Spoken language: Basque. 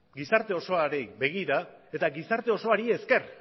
gizarte osoari begira eta gizarte osoari esker